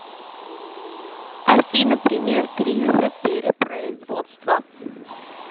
афина пример кризиса перепроизводства